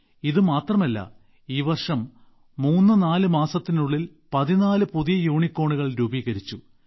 ഇത് മാത്രമല്ല ഈ വർഷം 34 മാസത്തിനുള്ളിൽ 14 പുതിയ യൂണികോണുകൾകൂടി രൂപീകരിച്ചു